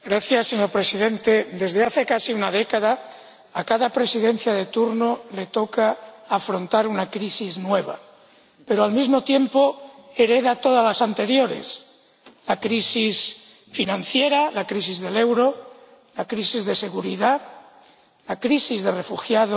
Señor Presidente, desde hace casi una década, a cada Presidencia de turno le toca afrontar una crisis nueva, pero al mismo tiempo hereda todas las anteriores la crisis financiera, la crisis del euro, la crisis de seguridad, la crisis de los refugiados